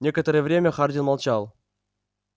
некоторое время хардин молчал